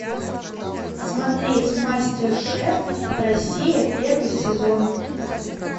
смотреть мастер шеф россия первый сезон